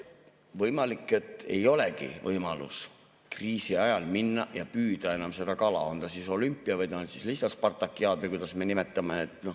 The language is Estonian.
Võimalik, et ei olegi võimalust kriisi ajal minna ja püüda enam seda kala, on ta siis olümpia või on lihtsalt spartakiaad või kuidas me nimetame.